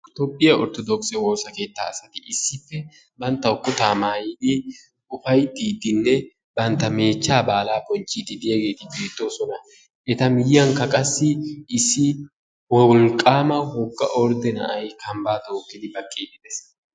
toophiya orthodookisse woosa keettaa asati issippe bantawu kutaa maatidi ufaytiidinne banta meechchaa baala bonchiidi diyaageeti beetoosona. eta miyiyankka qassi issi wolqama woga orde na'ay kambaa tookidi baqiidi dees.